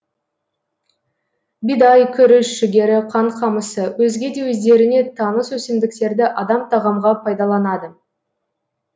бидай күріш жүгері қант қамысы өзге де өздеріңе таныс өсімдіктерді адам тағамға пайдаланады